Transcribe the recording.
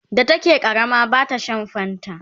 da take ƙarama bata Sha fanta ba